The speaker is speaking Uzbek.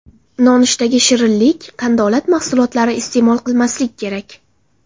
Nonushtaga shirinlik, qandolat mahsulotlari iste’mol qilmaslik kerak.